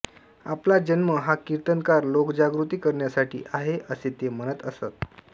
आपला जन्म हा कीर्तनाद्वारे लोकजागृती करण्यासाठी आहे असे ते म्हणत असत